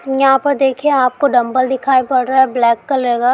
यहा पर देखिए आपको डम्बेल दिखाई पद रहा है ब्लैक कलर का।